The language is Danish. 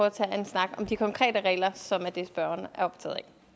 at tage en snak om de konkrete regler som er det spørgeren er optaget af